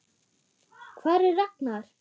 Hvar er Ragnar?